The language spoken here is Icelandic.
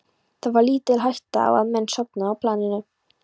Það var lítil hætta á að menn sofnuðu á planinu.